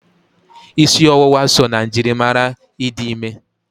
Ịsị ọwụwa so na njirimara ịdị ime.